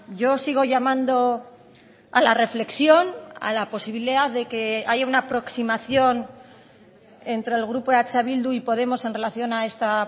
yo sigo llamando a la reflexión a la posibilidad de que haya una aproximación entre el grupo eh bildu y podemos en relación a esta